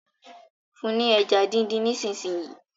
fún ní ẹja din dín nísìsiyìí!